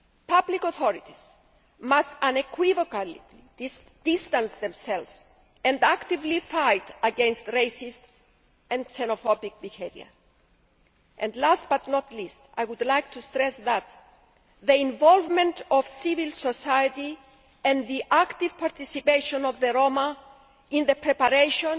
Public authorities must unequivocally distance themselves from, and actively fight against, racist and xenophobic behaviour. Last but not least, I would like to stress that the involvement of civil society and the active participation of the Roma in the preparation,